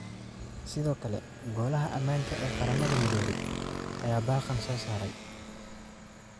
Sidoo kale Golaha Ammaanka ee Qaramada Midoobay ayaa baaqan soo saaray.